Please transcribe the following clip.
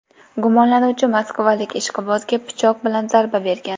Gumonlanuvchi moskvalik ishqibozga pichoq bilan zarba bergan.